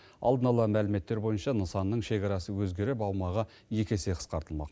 алдын ала мәліметтер бойынша нысанның шекарасы өзгеріп аумағы екі есе қысқартылмақ